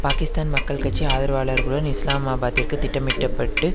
பாக்கிஸ்தான் மக்கள் கட்சி ஆதரவாளர்களுடன் இஸ்லாமாபாத்திற்கு திட்டமிட்டப்பட்டு